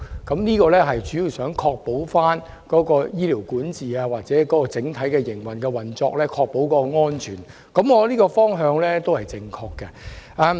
這點主要是想在醫療管治或整體運作上確保病人安全，我認為這個方向是正確的。